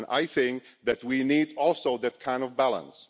I think we also need that kind of balance.